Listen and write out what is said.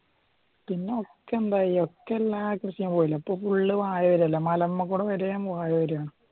പിന്നെ ഒക്കെ എന്താ ചെയ്യാ ഒക്കെ എല്ലാ കൃഷിയും ഇപ്പൊ ഫുള്ള് വാഴ വരുവല്ല